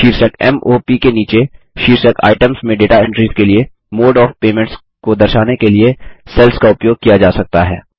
शीर्षक m o प के नीचे शीर्षक आईटीईएमएस में डेटा एंट्रीस के लिए मोडे ओएफ पेमेंट्स को दर्शाने के लिए सेल्स का उपयोग किया जा सकता है